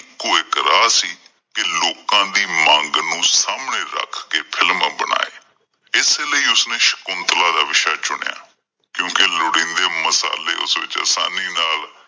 ਇੱਕ ਰਾਹ ਸੀ। ਕਿ ਲੋਕਾਂ ਦੀ ਮੰਗ ਨੂੰ ਸਾਹਮਣੇ ਰੱਖ ਕਿ film ਬਣਾਏ, ਇਸ ਲਈ ਉਸ ਨੇ ਸ਼ੁਕੰਤਲਾਂ ਦਾ ਵਿਸ਼ਾ ਚੁਣਿਆ ਕਿਉਂਕਿ ਲੋੜੀਂਦੇ ਮਸਾਲੇ ਉਸ ਵਿੱਚ ਆਸਾਨੀ ਨਾਲ